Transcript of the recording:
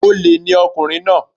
Olè ni ọkùnrin náà